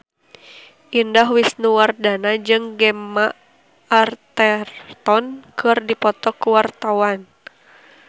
Indah Wisnuwardana jeung Gemma Arterton keur dipoto ku wartawan